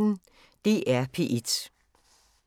DR P1